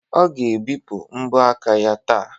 Ọ ga-ebipụ mbọ aka ya taa